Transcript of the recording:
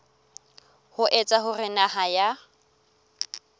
ho etsa hore naha ya